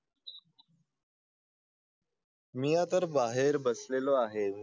मी तर बाहेर बसलेला आहे